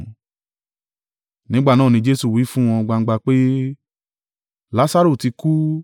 Nígbà náà ni Jesu wí fún wọn gbangba pé, “Lasaru ti kú.